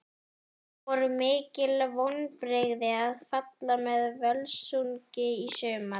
Voru mikil vonbrigði að falla með Völsungi í sumar?